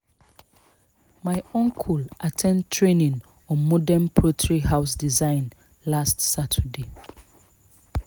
my uncle at ten d training on modern poultry house design last saturday